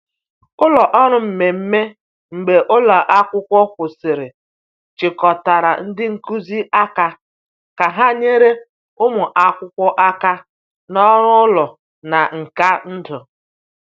Ụlọ ọrụ mmemme mgbe ụlọ akwụkwọ kwụsịrị chịkọtara ndị nkuzi aka ka ha nyere ụmụ akwụkwọ aka na ọrụ ụlọ na nka ndụ.